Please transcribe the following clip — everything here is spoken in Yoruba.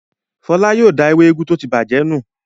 Fọlá yóò da ewé úgú tó ti bàjẹ́ nù.